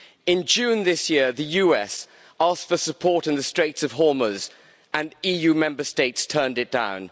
In June this year, the USA asked for support in the Straits of Hormuz, and EU Member States turned it down.